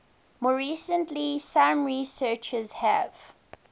more recently some researchers have